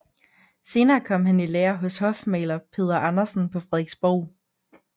Senere kom han i lære hos hofmaler Peder Andersen på Frederiksborg